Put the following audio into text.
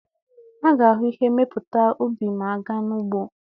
A ga-ahụ ihe mmepụta ubi ma a gaa n'ugbo.